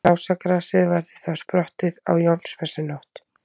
Lásagrasið verður þá sprottið á Jónsmessunótt.